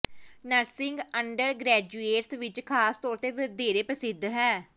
nursing undergraduates ਵਿਚ ਖਾਸ ਤੌਰ ਤੇ ਵਧੇਰੇ ਪ੍ਰਸਿੱਧ ਹੈ